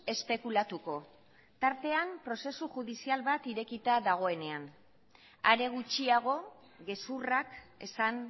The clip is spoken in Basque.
espekulatuko tartean prozesu judizial bat irekita dagoenean are gutxiago gezurrak esan